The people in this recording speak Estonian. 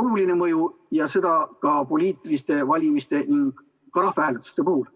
oluline mõju ja seda ka poliitiliste valimiste ning rahvahääletuste puhul.